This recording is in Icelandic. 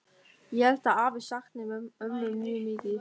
Ég held að afi sakni ömmu mjög mikið.